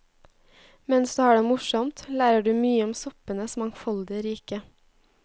Mens du har det morsomt, lærer du mye om soppenes mangfoldige rike.